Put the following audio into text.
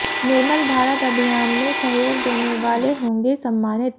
निर्मल भारत अभियान में सहयोग देने वाले होंगे सम्मानित